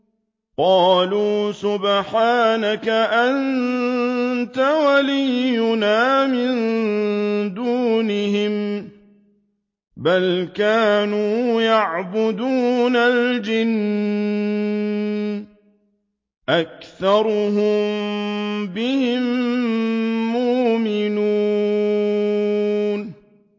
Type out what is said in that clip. قَالُوا سُبْحَانَكَ أَنتَ وَلِيُّنَا مِن دُونِهِم ۖ بَلْ كَانُوا يَعْبُدُونَ الْجِنَّ ۖ أَكْثَرُهُم بِهِم مُّؤْمِنُونَ